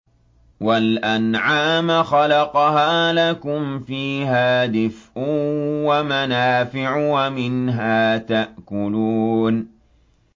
وَالْأَنْعَامَ خَلَقَهَا ۗ لَكُمْ فِيهَا دِفْءٌ وَمَنَافِعُ وَمِنْهَا تَأْكُلُونَ